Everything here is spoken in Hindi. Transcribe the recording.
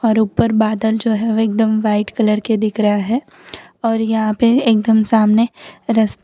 और ऊपर बादल जो है वो एकदम व्हाइट कलर के दिख रहा है और यहां पर एकदम सामने रस--